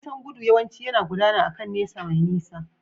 Nisan gudu yawanci yana gudana akan nesa mai nisa.